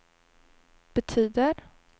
betyder